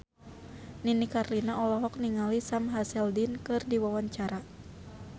Nini Carlina olohok ningali Sam Hazeldine keur diwawancara